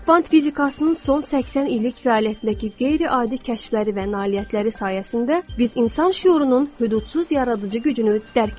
Kvant fizikasının son 80 illik fəaliyyətindəki qeyri-adi kəşfləri və nailiyyətləri sayəsində biz insan şüurunun hüdudsuz yaradıcı gücünü dərk etdik.